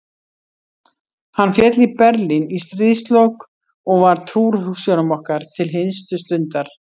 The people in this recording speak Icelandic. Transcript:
Hann féll í Berlín í stríðslok og var trúr hugsjónum okkar til hinstu stundar.